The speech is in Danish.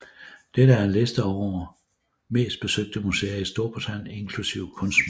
Dette er en liste over mest besøgte museer i Storbritannien inklusive kunstmuseer